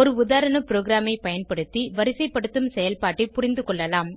ஒரு உதாரண ப்ரோகிராமை பயன்படுத்தி வரிசைப்படுத்தும் செயல்பாட்டை புரிந்துகொள்ளலாம்